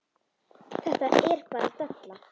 Þetta er bara della.